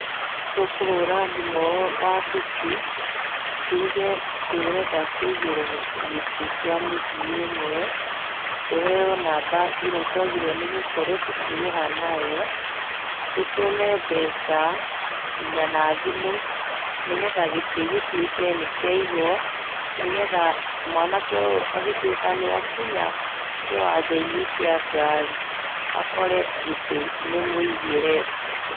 Tũkũhũra thimũ wabici tuge tũrenda kũigĩrwo gĩtĩ kĩa mũthii ũmwe, tũheo namba ĩrĩa twagĩrĩirwo gũkorwo tũkĩrĩha nayo, tũtũme mbeca nginya na thimũ nĩgetha gĩtĩ gĩtuĩke nĩkĩaigwo ,nĩgetha mwanake ũyũ agĩtuĩka nĩakinya kĩwanja-inĩ kia ngari akore gĩtĩ nĩ mũigĩre.